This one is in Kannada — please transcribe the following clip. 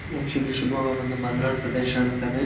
ಆಕ್ಚುಲಿ ಶಿಮೊಗ್ಗ ಬಂದು ಮಲ್ನಾಡ್ ಪ್ರದೇಶ ಅಂತಾರೆ --